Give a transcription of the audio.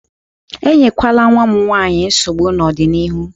Enyekwala nwa m nwanyị nsogbu n'ọdịnihu!